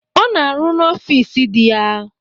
Ọ na arụ n'ọfịs dị ya.